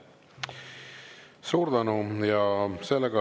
Suur tänu!